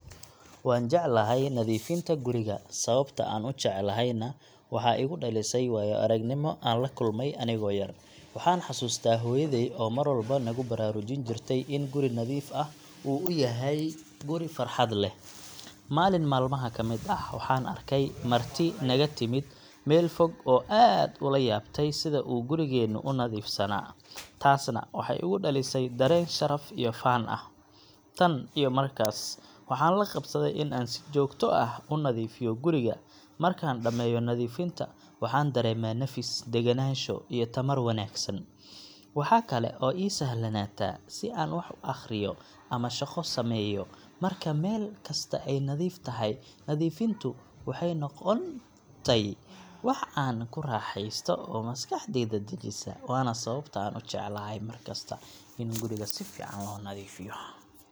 Waan jeclahay nadiifinta guriga, sababta aan u jeclahayna waxaa igu dhalisay waayo-aragnimo aan la kulmay anigoo yar. Waxaan xasuustaa hooyaday oo mar walba nagu baraarujin jirtay in guri nadiif ah uu yahay guri farxad leh. Maalin maalmaha ka mid ah, waxaan arkay marti naga timid meel fog oo aad ula yaabtay sida uu gurigeennu u nadiifsanaa, taasna waxay igu dhalisay dareen sharaf iyo faan ah. Tan iyo markaas, waxaan la qabsaday in aan si joogto ah u nadiifiyo guriga. Markaan dhammeeyo nadiifinta, waxaan dareemaa nafis, degganaansho, iyo tamar wanaagsan. Waxa kale oo ii sahlanaata in aan wax akhriyo ama shaqo sameeyo marka meel kasta ay nadiif tahay. Nadiifintu waxay noqotay wax aan ku raaxeysto oo maskaxdayda dejisa, waana sababta aan u jeclahay mar kasta in guriga si fiican loo nadiifiyo.